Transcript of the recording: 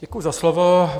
Děkuji za slovo.